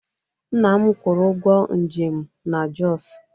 Nna m kwụrụ ụgwọ njem m na Jos